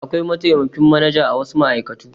Akwai mataimakin manaja a wasu ma'aikatu.